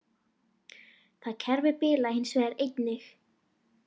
Það kerfi bilaði hins vegar einnig